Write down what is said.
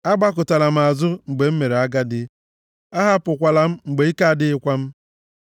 Agbakụtala m azụ mgbe m mere agadi; ahapụkwala m mgbe ike adịghịkwa m.